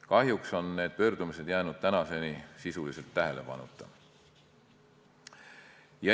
Kahjuks on need pöördumised jäänud tänaseni sisuliselt tähelepanuta.